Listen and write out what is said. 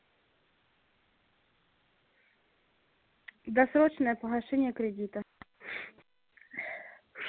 досрочное погашение кредита